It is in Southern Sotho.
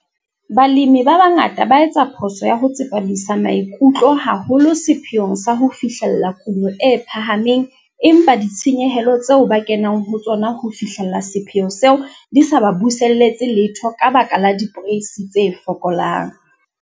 Balemi ba bangata ba etsa phoso ya ho tsepamisa maikutlo haholo sepheong sa ho fihlella kuno e phahameng empa ditshenyehelo tseo ba kenang ho tsona ho fihlella sepheo seo di sa ba buselletse letho ka baka la diporeisi tse fokolang.